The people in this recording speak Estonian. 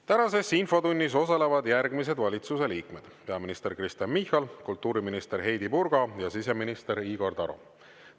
Tänases infotunnis osalevad järgmised valitsuse liikmed: peaminister Kristen Michal, kultuuriminister Heidy Purga ja siseminister Igor Taro.